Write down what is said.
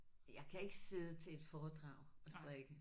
Jeg kan ikke sidde til et foredrag og strikke